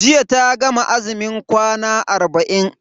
Jiya ta gama azumin kwana arba'in.